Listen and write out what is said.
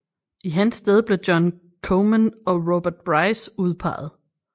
I hans sted blev John Comyn og Robert Bruce udpegede